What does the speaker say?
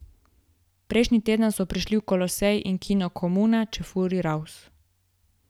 Prejšnji teden so prišli v Kolosej in kino Komuna Čefurji raus!